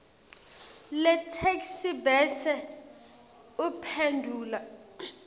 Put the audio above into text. letheksthi bese uphendvula